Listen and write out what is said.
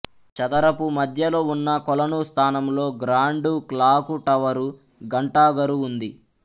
చదరపు మధ్యలో ఉన్న కొలను స్థానంలో గ్రాండు క్లాకు టవరు ఘంటాఘరు ఉంది